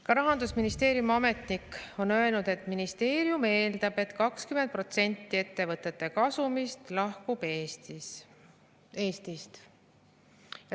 Ka Rahandusministeeriumi ametnik on öelnud, et ministeerium eeldab, et 20% ettevõtete kasumist lahkub Eestist.